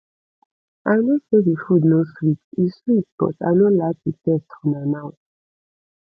i no say the food no sweet e sweet but i no like the taste for my mouth